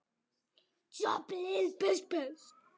Örn stökk til hans.